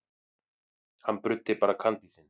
Hann bruddi bara kandísinn.